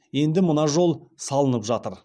енді мына жол салынып жатыр